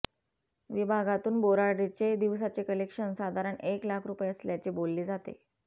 विभागातून बोराडेचे दिवसाचे कलेक्शन साधारण एक लाख रुपये असल्याचे बोलले जाते